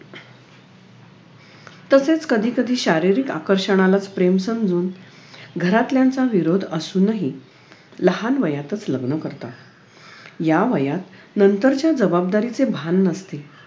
तसेच कधीकधी शारीरिक आकर्षणालाच प्रेम समजून घरातल्यांचा विरोध असूनही लहान वयातच लग्न करतात या वयात नंतरच्या जबाबदारीचे भान नसते